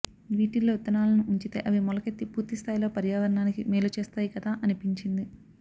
వీటిల్లో విత్తనాలని ఉంచితే అవి మొలకెత్తి పూర్తి స్థాయిలో పర్యావరణానికి మేలు చేస్తాయి కదా అనిపించింది